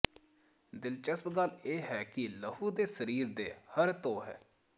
ਦਿਲਚਸਪ ਗੱਲ ਇਹ ਹੈ ਕਿ ਲਹੂ ਦੇ ਸਰੀਰ ਦੇ ਹਰ ਧੋ ਹੈ